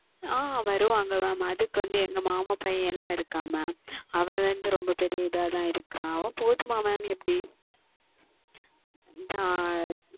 ஆஹ் வருவார்கள் Mam அதற்கு வந்து எங்கள் மாமா பையன் எல்லாம் இருக்கிறான் Mam அவன் வந்து மிக பெரிய இதாக தான் இருக்கிறான் அவன் போதுமா Mam இல்லை எப்படி